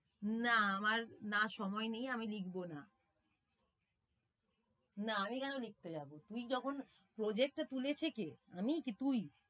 না আমার না সময় নেই আমি লিখবো না বা আমি কেন লিখতে যাবো তুই যখন project টা তুলেছে কে? আমি কি তুই?